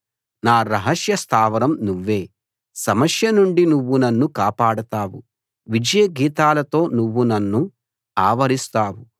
నా రహస్య స్థావరం నువ్వే సమస్య నుండి నువ్వు నన్ను కాపాడతావు విజయ గీతాలతో నువ్వు నన్ను ఆవరిస్తావు